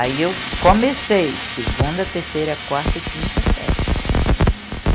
Aí eu comecei segunda, terceira, quarta e quinta série.